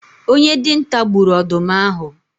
Onye dinta gburu ọdụm ahụ